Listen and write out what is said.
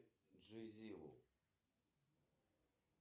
афина текущее время в москве